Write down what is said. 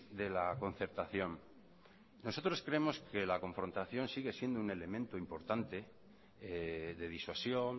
de la concertación nosotros creemos que la confrontación sigue siendo un elemento importante de disuasión